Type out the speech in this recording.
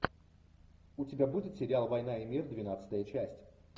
у тебя будет сериал война и мир двенадцатая часть